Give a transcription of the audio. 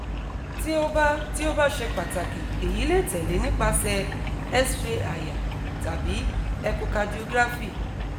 ti o ba ti o ba ṣe pataki eyi le tẹle nipasẹ xray àyà tabi echocardiography